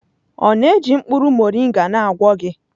Ọ na-eji mkpụrụ moringa na-agwọ gị?